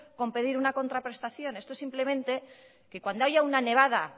con pedir una contraprestación esto es simplemente que cuando haya una nevada